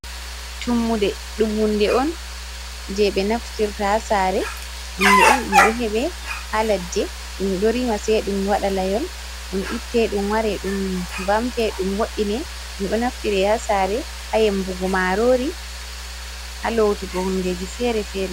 Tummude ɗum hunde on je ɓe naftirta ha sare hunde on ɗum ɗo heɓe ha ladde ɗum ɗo rima sei ɗum waɗa layol ɗum itte ɗum ware ɗum vamte ɗum woi'ine ɗum ɗo naftire ha sare ha yembugo marori ha lotugo hundeji fere-fere.